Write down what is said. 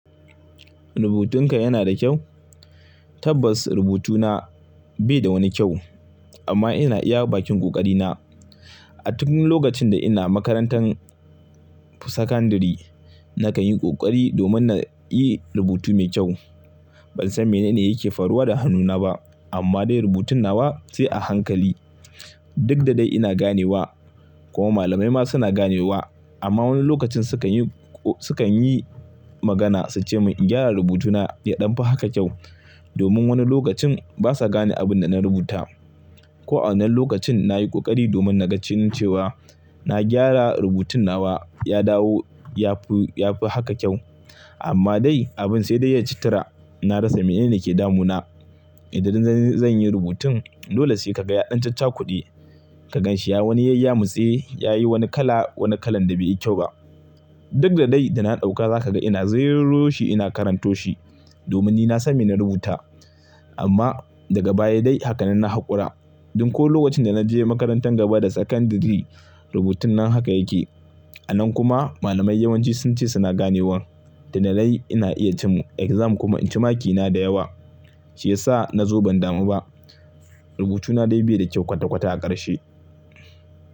Rubutunka yana da kyau? Tabbas rubutuna bai da wani kyau amma ina iya bakin ƙoƙari na. A duk lokacin da ina makarantar sakandari nakan yi kokari domin na yi rubutu mai kyau. Ban san mene ne yake faruwa da hannuna ba amma dai rubutun nawa sai a hankali. Duk da dai ina ganewa kuma malamai ma suna ganewa amma wani lokacin sukan yi, sukan yi magana suce mun in gyara rubutuna ya ɗanfi haka kyau domin wani lokacin basa gane abin da na rubuta. Ko a wannan lokacin nayi kokari domin na ga cewa na gyara rubutun nawa ya dawo yafi, yafi haka kyau amma dai abin sai dai ya ci tura. Na rasa mene ne yake damuna. Idan zan yi rubutun dole sai ka ga ya ɗan caccakude. Ka ganshi ya wani yayya motsi, yayi wani kala, wani kalan da bai yi kyau ba. Duk da dai da na ɗauka zaka ga ina zirroshi ina karanto shi domin ni na san mene na rubuta amma daga baya dai hakanan na haƙura. Duk ko lokacin da naje makarantar gaba da sakandari rubutun nan haka yake. A nan kuma malamai yawanci sunce suna ganewa da na dai ina iya cin exam kuma inci makina da yawa shiyasa na zo ban damu ba. Rubutuna dai bai da kyau kwata kwata a ƙarshe.